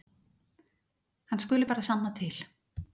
Hann skuli bara sanna til.